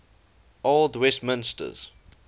old westminsters